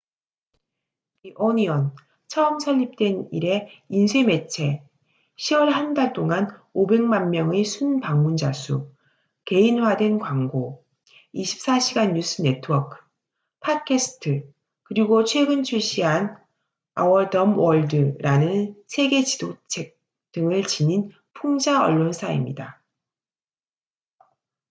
"the onion 처음 설립된 이래 인쇄 매체 10월 한 달 동안 500만 명의 순 방문자 수 개인화된 광고 24시간 뉴스 네트워크 팟캐스트 그리고 최근 출시한 "our dumb world""라는 세계 지도책 등을 지닌 풍자 언론사입니다.